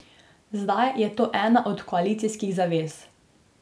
Zdaj je to ena od koalicijskih zavez.